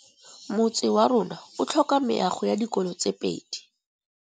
Motse warona o tlhoka meago ya dikolô tse pedi.